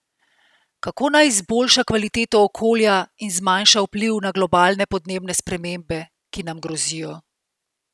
Kako naj izboljša kvaliteto okolja in zmanjša vpliv na globalne podnebne spremembe, ki nam grozijo?